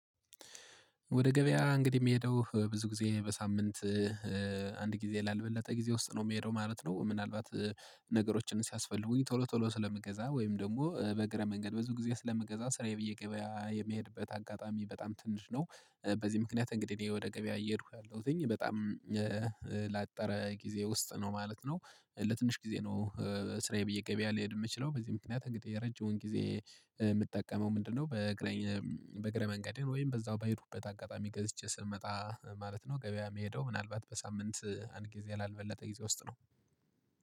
ወደ ገበያ እንግዲህ የሚሄደው ብዙ ጊዜ በሳምንት አንድ ጊዜ ላልበለጠ ጊዜ ውስጥ ነው የሚሄደው ማለት ነው። ምናልባት ነገሮችን ሲያስፈልጉኝ ቶሎ ቶሎ ስለምገዛ ወይም ደግሞ በእግረ መንገድ ብዙ ጊዜ ስለምገዛ ስራዬ ብዬ ገበያ የምሄድበት አጋጣሚ በጣም ትንሽ ነው። በዚህ ምክንያት እንግዲህ እኔ ወደ ገበያ እየሄድኩ ያለሁትኝ በጣም ላጠረ ጊዜ ውስጥ ነው ማለት ነው። ለትንሽ ጊዜ ነው። ስራዬ ብዬ ገበያ ልሄድ የምችለው በዚህ ምክንያት እንግዲህ የረጅሙን ጊዜ የምጠቀመው ምንድነው? በእግረ በእግረ መንገድህን ወይም በዛው በሄድኩበት አጋጣሚ ገዝቼ ስመጣ ማለት ነው። ገበያ የሚሄደው ምናልባት በሳምንት አንድ ጊዜ ላልበለጠ ጊዜ ውስጥ ነው